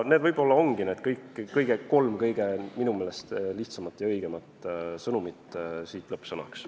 Need ongi need kolm minu meelest kõige lihtsamat ja õigemat sõnumit siit lõppsõnaks.